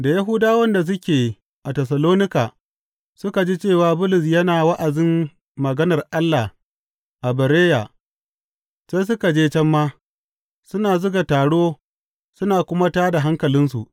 Da Yahudawan da suke a Tessalonika suka ji cewa Bulus yana wa’azin maganar Allah a Bereya, sai suka je can ma, suna zuga taro suna kuma tā da hankalinsu.